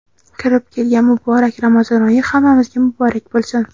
Kirib kelgan muborak Ramazon oyi hammamizga muborak boʼlsin!.